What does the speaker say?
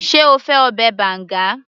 sé o fẹ́ ọbẹ̀ banga